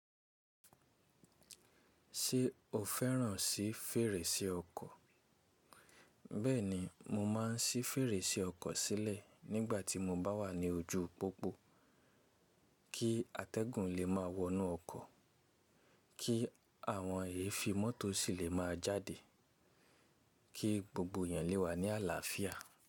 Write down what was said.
Ṣé o fẹ́ràn sí fèrèsé ọkọ̀? Bẹ́ẹ̀ni, mo ma ń sí fèrèsé ọkọ̀ sílẹ̀ nígbà tí mo bá wà ní ojú pópó̀ kí atẹ́gùn lè máa wọnú ọkọ̀, kí àwọn èéfín mọ́tò sì lè máa jáde, kí gbogbo èèyàn lè wà ní àlàáfíà.